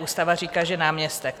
Ústava říká, že náměstek.